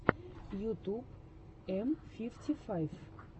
ютуб м фифти файв